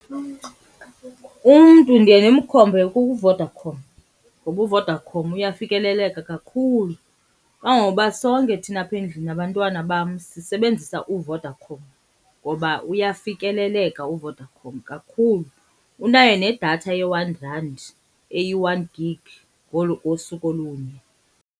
Umntu ndiye ndimkhombe kuVodacom ngoba uVodacom uyafikeleleka kakhulu. Kangangokuba sonke thina apha endlini nabantwana bam sisebenzisa uVodacom ngoba uyafikeleleka uVodacom kakhulu. Unayo nedatha ye-one rand eyi-one gig ngosuku olunye.